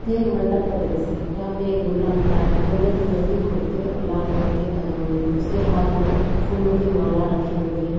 ये एक मंडप का दृश्य है जहाँ पे एक दुल्हा खड़ा है गोल्डन कलर के कुर्ते और लाल कलर के पजामे मे उसके हाँथ मे फूलों की माला रखी हुए है।